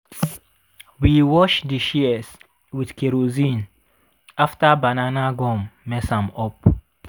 we wash di shears with kerosene after banana gum mess am up.